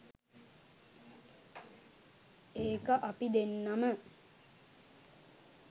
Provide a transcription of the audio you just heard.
ඒක අපි දෙන්නම